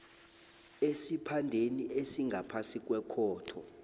esiphandeni esingaphasi kwekhotho